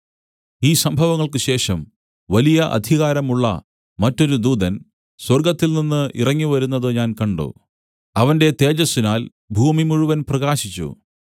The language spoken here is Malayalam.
ഈ സംഭവങ്ങൾക്കുശേഷം വലിയ അധികാരമുള്ള മറ്റൊരു ദൂതൻ സ്വർഗ്ഗത്തിൽനിന്ന് ഇറങ്ങി വരുന്നത് ഞാൻ കണ്ട് അവന്റെ തേജസ്സിനാൽ ഭൂമി മുഴുവനും പ്രകാശിച്ചു